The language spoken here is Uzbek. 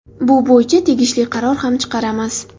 Bu bo‘yicha tegishli qaror ham chiqaramiz.